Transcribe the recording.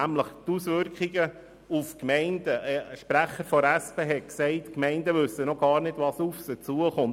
Was die Auswirkungen auf die Gemeinden betrifft, hat ein Sprecher der SP geäussert, die Gemeinden wüssten noch gar nicht, was auf sie zukommt.